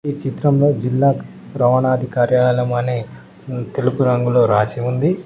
ఈ చిత్రంలో జిల్లా రవాణాధి కార్యాలయం అని తెలుపు రంగులో రాసి ఉంది.